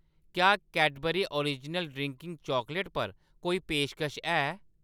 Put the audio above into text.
क्या Cadbury original drinking chocolate पर कोई पेशकश है ?